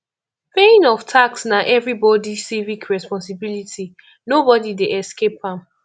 paying of tax na everybody civic responsibility nobody dey escape am